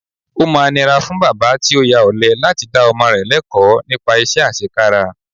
Ó máa nira fún bàbá tí ó ya ọ̀lẹ láti dá ọmọ rẹ lẹ́kọ̀ọ̀ nípa iṣẹ́ àṣekára